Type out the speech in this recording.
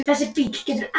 Egill Sigurðsson: Ha?